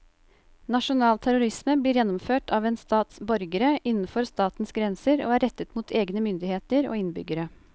Nasjonal terrorisme blir gjennomført av en stats borgere innenfor statens grenser og er rettet mot egne myndigheter og innbyggere.